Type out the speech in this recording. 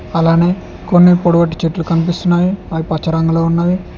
అలానే కొన్ని పొడవటి చెట్లు కనిపిస్తున్నాయి అవి పచ్చ రంగులో ఉన్నవి.